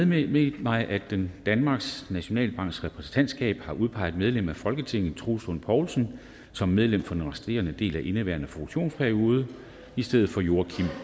meddelt mig at den danmarks nationalbanks repræsentantskab har udpeget medlem af folketinget troels lund poulsen som medlem for den resterende del af indeværende funktionsperiode i stedet for joachim